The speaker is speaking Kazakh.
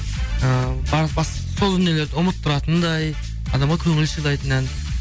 ы сол дүниелерді ұмыттыратындай адамға көңіл сыйлайтын ән